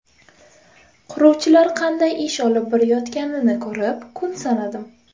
Quruvchilar qanday ish olib borayotganini ko‘rib, kun sanadim.